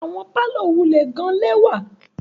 Awọn parlour wulẹ gan lẹwa